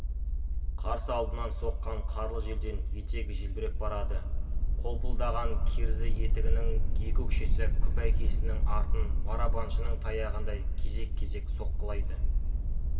қарсы алдынан соққан қарлы желден етегі желбіреп барады қолпылдаған керзі етігінің екі өкшесі күпәйкесінің артын барабаншының таяғындай кезек-кезек соққылайды